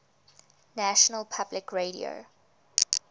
national public radio